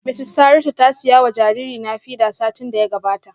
Mrs Saratu ta siya wa jaririna feeder satin da ya gabata